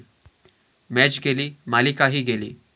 match गेली, मालिकाही गेली